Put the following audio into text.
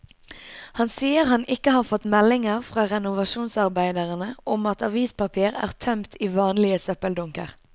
Han sier han ikke har fått meldinger fra renovasjonsarbeiderne om at avispapir er tømt i vanlige søppeldunker.